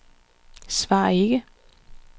svar ikke